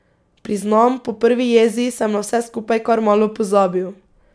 Priznam, po prvi jezi sem na vse skupaj kar malo pozabil.